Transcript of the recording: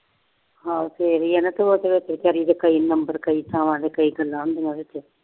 ਹਾਂ ਫਿਰ ਹੀ ਆ ਨਾ ਤੇ ਉਹਦੇ ਵਿੱਚ ਬੇਚਾਰੀ ਦੇ ਕਈ number ਕਈ ਥਾਵਾਂ ਤੇ ਕਈ ਗੱਲਾਂ ਹੁੰਦੀਆਂ ਉਹਦੇ ਚ